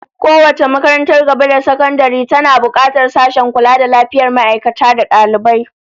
Kowace babbar makarantar gaba da sakandare tana bukatar sashen kula da lafiyar ma'aikata da dalibai